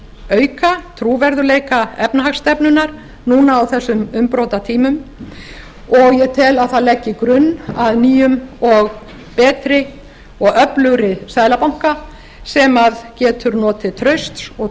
auka trúverðugleika efnahagsstefnunnar núna á þessum umbrotatímum og ég tel að það leggi grunn að nýjum betri og öflugri seðlabanka sem getur notið trausts og